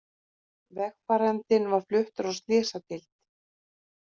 Vegfarandinn var fluttur á slysadeild